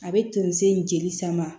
A bɛ tonso in jeli sama